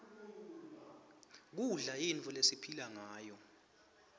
kudla yinfo lesiphila ngayo